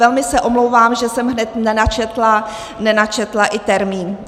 Velmi se omlouvám, že jsem hned nenačetla i termín.